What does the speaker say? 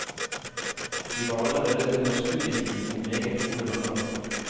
Vi var allerede under studietiden meget gode venner.